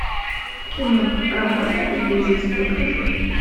кино рамона и бизус покажи